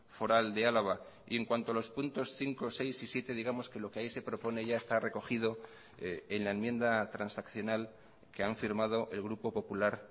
foral de álava y en cuanto a los puntos cinco seis y siete digamos que lo que ahí se propone ya está recogido en la enmienda transaccional que han firmado el grupo popular